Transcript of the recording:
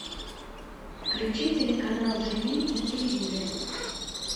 включи телеканал живи на телевизоре